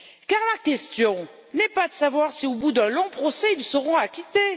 Car la question n'est pas de savoir si, au bout d'un long procès, elles seront acquittées.